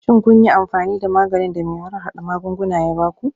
Shin kun yi amfani da maganin da mai harhada magunguna ya ba ku?